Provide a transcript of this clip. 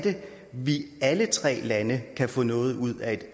vi alle tre lande kan få noget ud af et